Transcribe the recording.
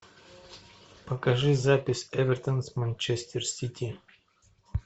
покажи запись эвертон с манчестер сити